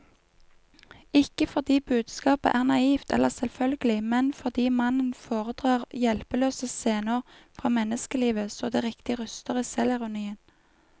Ikke fordi budskapet er naivt eller selvfølgelig, men fordi mannen foredrar hjelpeløse scener fra menneskelivet så det riktig ryster i selvironien.